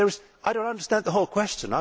I do not understand the whole question.